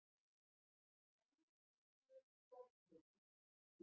Vann milljón soðkökur